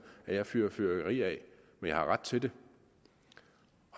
at jeg fyrer fyrværkeri af men jeg har ret til det